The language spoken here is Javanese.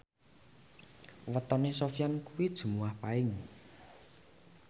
wetone Sofyan kuwi Jumuwah Paing